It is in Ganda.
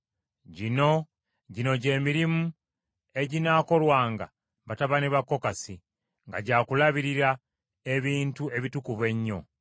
“Gino gye mirimu eginaakolwanga batabani ba Kokasi mu Weema ey’Okukuŋŋaanirangamu: nga gya kulabirira ebintu ebitukuvu ennyo.